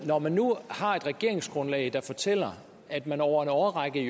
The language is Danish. når man nu har et regeringsgrundlag der fortæller at man over en årrække